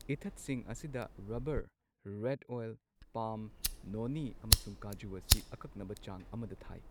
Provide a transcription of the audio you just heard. ꯏꯊꯠꯁꯤꯡ ꯑꯁꯤꯗ rubber , red oil, palm, ꯅꯣꯅꯤ ꯑꯃꯁꯨꯡ ꯀꯥꯖꯨ ꯑꯁꯤ ꯑꯀꯛꯅꯕ ꯆꯥꯡ ꯑꯃꯗ ꯊꯥꯏ꯫